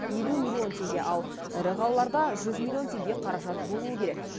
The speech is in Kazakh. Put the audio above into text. елу миллион теңге ал ірі қалаларда жүз миллион теңге қаражат болуы керек